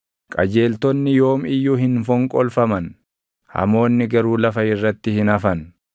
Karaan Waaqayyoo nama qajeelaaf daʼoo dha; nama jalʼaaf garuu badiisa.